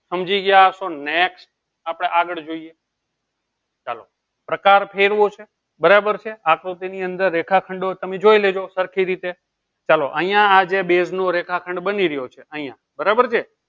સમજી ગયા હસો next આપણે આગળ જોઇએ ચાલો પ્રકાર ફેરવો છે બરાબર છે આકૃતિ ની અંદર રેખાખંડો તમે જોઈ લેજો સરખી રીતે ચાલો અહીંયા આજે base નો રેખાખંડ બની રહ્યો છે અહીંયા બરાબર છે